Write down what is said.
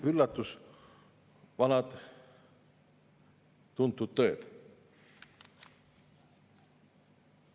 Üllatus: vanad tuntud tõed.